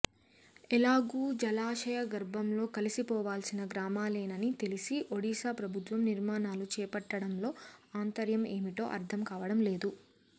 ఎలాగూ జలాశయ గర్భంలో కలసిపోవాల్సిన గ్రామాలేనని తెలిసి ఒడిశా ప్రభుత్వం నిర్మాణాలు చేపట్టడంలో ఆంతర్యం ఏమిటో అర్థం కావడం లేదు